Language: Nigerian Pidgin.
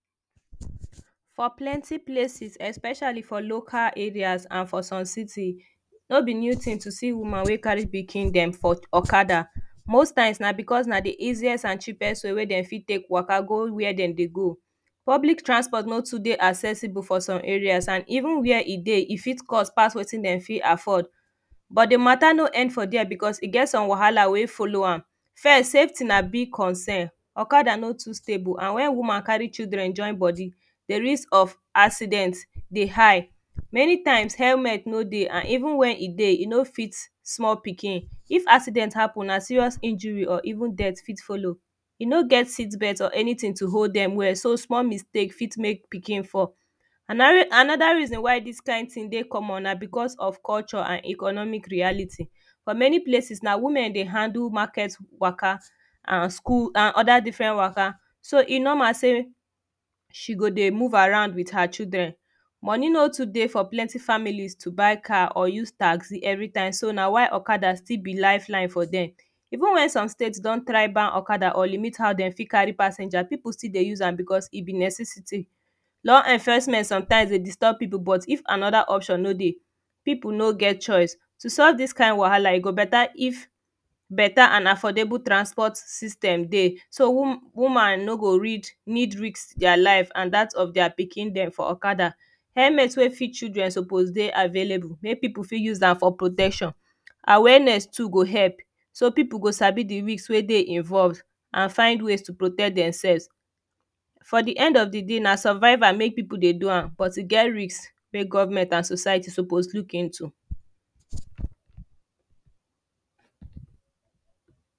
For plenty places especially for local areas and for some city no be new tin to see woman we carry pikin dem for loads most times na because na de easiest and cheapest way wey dem fit take waka go wia dem dey go public transport no too dey accessible for some areas and even wia e dey e fit even cost pass wetin dem fit afford but de mata no end for dia because e get some wahala wey follow am first safety na big concern okada no too stable and wen woman carry children join body de risk of accident dey high many times helmet no dey and even when e dey e no fit small pikin if accident happen na serious injury or even deat fit follow e no get seatbelt or anytin to hold dem well so small mistakes fit make pikin fall Anoda reason why dis kind tin wey common na because of culture and economic reality for many places na women dey handle market waka and school and oda different waka so e normal say she go dey move around wit her children money no too dey for plenty families to buy car or use taxi every time so na why okada still be life line for dem even wen some states don try ban okada or limit how dem fit carry passenger people still dey use am because e be necessity law enforcement sef dey disturb people but if anoda option no dey people no get choice to solve dis kind wahala e go beta if beta an affordable transport system dey so woman no go read need risk dia life and dat of dia pikin dem helmet wey fit children suppose dey available make people fit use am for protection awareness too go help so people go Sabi de risk wey dey involve an find ways to protect demselves for de end of de day na survival make people dey do am but e get risk wey government and society suppose look into